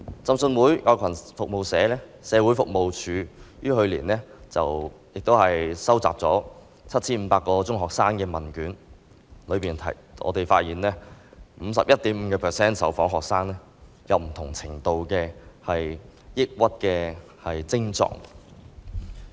浸信會愛羣社會服務處於去年收集了 7,500 個中學生的問卷，當中發現 51.5% 的受訪學生有不同程度的抑鬱症狀。